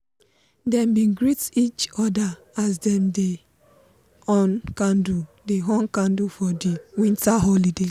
dem bin greet each other as dem dey on candle dey on candle for di winter holiday.